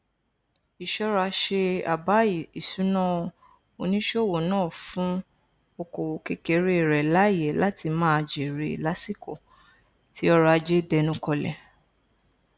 ìṣọraṣe àbá ìṣúná oníṣòwò náà fún okoòwò kékeré rẹ láyè láti máa jère lásìkò tí ọrọajé dẹnu kọlẹ